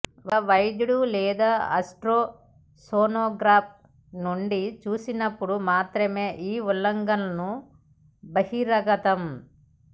ఒక వైద్యుడు లేదా అల్ట్రాసోనోగ్రఫీ నుండి చూసినప్పుడు మాత్రమే ఈ ఉల్లంఘనలను బహిర్గతం